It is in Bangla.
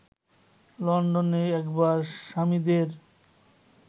লন্ডনে একবার স্বামীদের